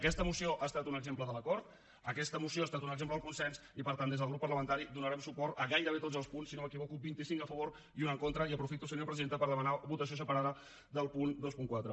aquesta moció ha estat un exemple de l’acord aquesta moció ha estat un exemple del consens i per tant des del grup parlamentari donarem suport a gairebé tots els punts si no m’equivoco vint i cinc a favor i un en contra i aprofito senyora presidenta per demanar votació separada del punt vint quatre